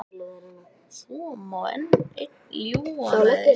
Svo má einn ljúga að einn hangi.